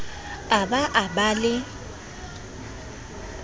a ba a ba le